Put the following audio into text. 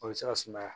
O bɛ se ka sumaya